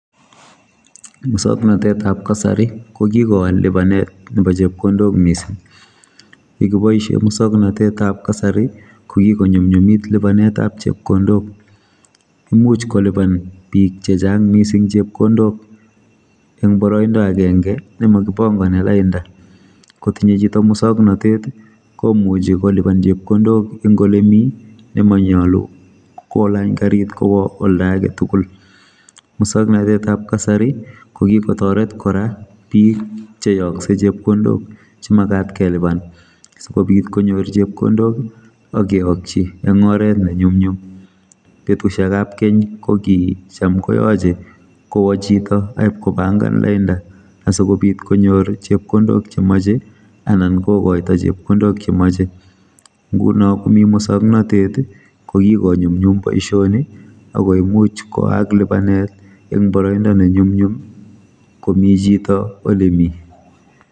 musoknotetab kasari kokikowal libanetab chepkondok mising yekiboisie musoknotetab kasari kokikonyumnyumit libanetab chepkondok imuch koliban biim chechang mising chepkondok eng boroindo agenge nemokipangani lainda kotinye chito musoknotet komuchi koliban chepkondok eng ole mi nemanyalu kolany karit kwo oldo agetugul musoknotetab kasari kokikotoret kora biik cheyoksei chepkondok chemagat keliban sikobit konyor chepkondok akeyokchi eng oret ne nyumnyum betusiekab keny kokicham koyoche kowochito akipkopangan lainda asikobit konyor chepkondok chemoche anan kokoito chepkondok chemoche nguno komi kusoknotet kokikonyumnyum boisioni akoimuch kwaak libanet eng boroindo nenyumnyum komi chito ole mi